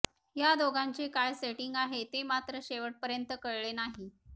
ह्या दोघांचे काय सेटिंग आहे ते मात्र शेवटपर्यंत कळले नाही